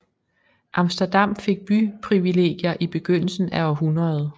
Amsterdam fik byprivilegier i begyndelsen af århundredet